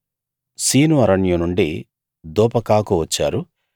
scene అరణ్యం నుండి దోపకాకు వచ్చారు